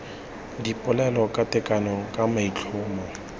dipolelo ka tekano ka maitlhomo